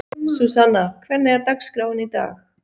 Súsanna, hvernig er dagskráin í dag?